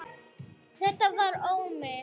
Þetta var Ómi.